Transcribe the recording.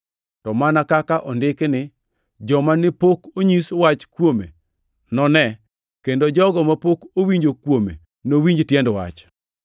To mana kaka ondiki ni: “Joma ne pok onyis wach kuome none kendo jogo mapok owinjo kuome nowinj tiend wach.” + 15:21 \+xt Isa 52:15\+xt*